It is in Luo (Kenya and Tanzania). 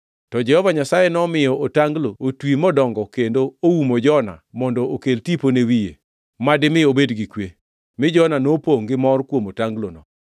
To Jehova Nyasaye nomiyo otanglo otwi modongo kendo oumo Jona mondo okel tipo ne wiye, ma dimi obed gi kwe, mi Jona nopongʼ gi mor kuom otanglono.